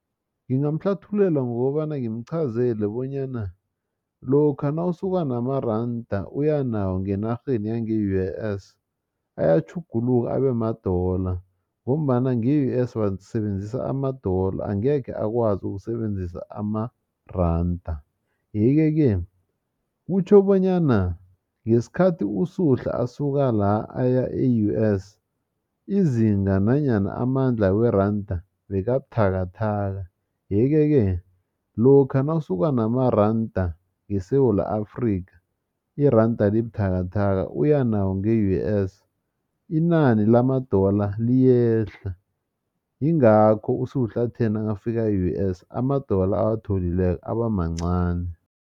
Ngingamhlathululela ngokobana ngimqhazele bonyana lokha nawusuka namaranda uya nawo ngenarheni yange-U_S ayatjhuguluka abemadola ngombana nge-U_S basebenzisa amadola angekhe akwazi ukusebenzisa amaranda, yeke-ke kutjho bonyana ngesikhathi uSuhla asuka la aya e-U_S izinga nanyana amandla weranda bekabuthakathaka yeke-ke lokha nawusuka namarada ngeSewula Afrika irada libuthakathaka uya nawo nge-U_S inani lamadola liyehla yingakho uSuhla athe nakafika nge-U_S amadola awatholileko aba mancani.